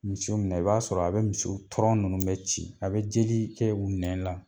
Misi minɛ i b'a sɔrɔ a bɛ misiw tɔrɔn ninnu bɛ ci, a bɛ jeli kɛ u nɛn la.